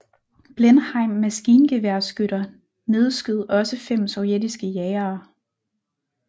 Blenheim maskingeværskytter nedskød også fem sovjetiske jagere